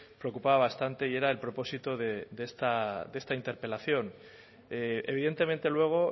preocupaba bastante y era el propósito de esta interpelación evidentemente luego